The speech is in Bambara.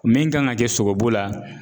Min kan ŋa kɛ sogobu la